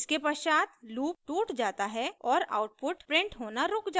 इसके पश्चात लूप टूट जाता है और आउटपुट प्रिंट होना रुक जाता है